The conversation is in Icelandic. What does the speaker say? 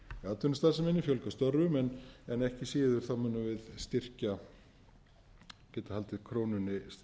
atvinnustarfseminni fjölga störfum en ekki síður munum við styrkja geta haldið krónunni